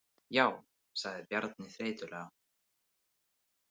Já, sagði Bjarni þreytulega.